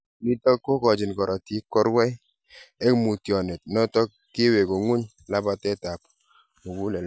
Nitok kogachin karatiik �korwai �eng mutyonet notok kowegu ngu'ny labateet ap muguleldo